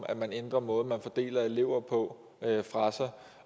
man ændrer måden at fordele elever på fra sig